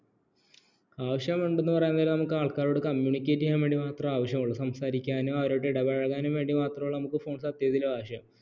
ആവശ്യമുണ്ടെന്നു പറയാൻ നേരം ആൾക്കാരോട് communicate ചെയ്യാൻ വേണ്ടി മാത്രം ആവശ്യമുള്ളു സംസാരിക്കാനും അവരോടു ഇടപഴകാനും വേണ്ടി മാത്രമേയുള്ളു നമുക്ക് phone സത്യത്തിൽ ആവശ്യം